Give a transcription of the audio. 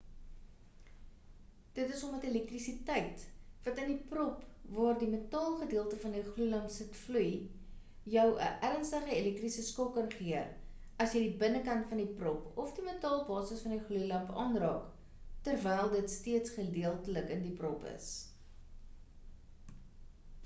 dit is omdat elektrisiteit wat in die prop waar die metaal gedeelte van die gloeilamp sit vloei jou 'n ernstige elektriese skok kan gee as jy die binnekant van die prop of die metaalbasis van die gloeilamp aanraak terwyl dit steeds gedeeltelik in die prop is